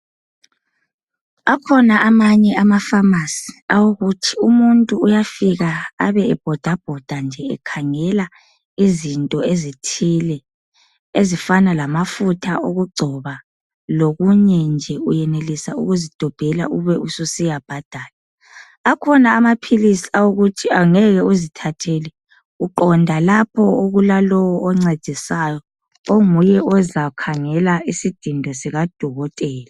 Akhona amanye amapharmacy, awokuthi umuntu uyafika abe ebhodabhoda nje ekhangela izinto ezithile ezifana lamafutha okugcoba lokunye nje. Uyenelisa ukuzidobhela ube ususiya bhadala. Akhona amaphilisi awokuthi angeke uzithathele, uqonda lapho okulalowo oncedisayo, onguye ozakhangela isidindo sikadokotela.